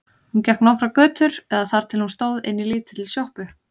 Hún gekk nokkrar götur eða þar til hún stóð inni í lítilli sjoppu.